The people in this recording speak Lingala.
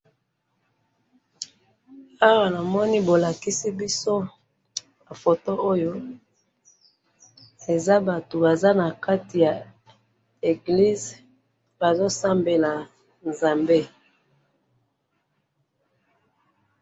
Awa namoni bolakisi biso photo Oyo. Eza Bato baza na kati ya église bazosambela Nzambe.